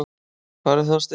Hvar er Þorsteinn?